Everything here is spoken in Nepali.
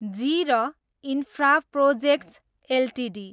G R Infraprojects Ltd